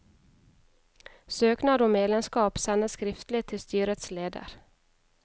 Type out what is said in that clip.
Søknad om medlemskap sendes skriftlig til styrets leder.